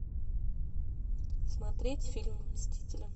смотреть фильм мстители